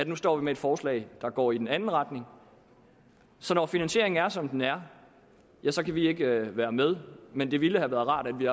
nu står med et forslag der går i den anden retning så når finansieringen er som den er ja så kan vi ikke være med men det ville have været rart at vi